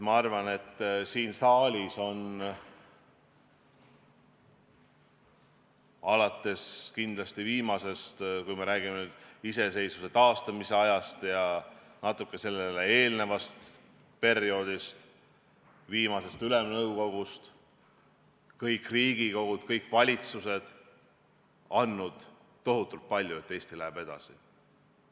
Ma arvan, et siin saalis on – kindlasti alates viimasest Ülemnõukogust, kui me räägime iseseisvuse taastamise ajast ja natuke sellele eelnevast perioodist – kõik Riigikogud ja kõik valitsused andnud tohutult palju selleks, et Eesti läheb edasi.